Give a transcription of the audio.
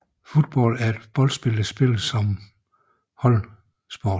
Football er boldspil der spilles som holdsport